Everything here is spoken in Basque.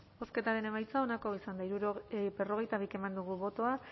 bozketaren emaitza onako izan da berrogeita bi eman dugu bozka